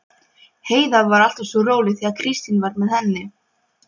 Heiða var alltaf svo róleg þegar Kristín var með henni.